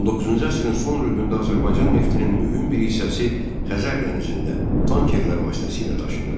19-cu əsrin son rübündə Azərbaycan neftinin mühüm bir hissəsi Xəzər dənizində tankerlər vasitəsilə daşınırdı.